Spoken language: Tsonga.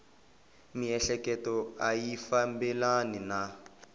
miehleketo a yi fambelani na